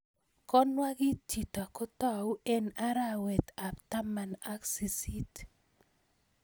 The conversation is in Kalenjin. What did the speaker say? Konwag'it chito kotau eng' arwet ab taman ak siisit